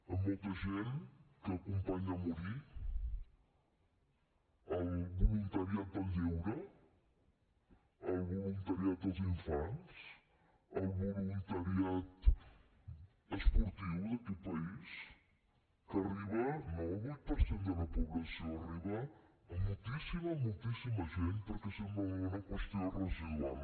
amb molta gent que acompanya a morir el voluntariat del lleure el voluntariat dels infants el voluntariat esportiu d’aquest país que arriba no al vuit per cent de la població arriba a moltíssima moltíssima gent perquè sembla una qüestió residual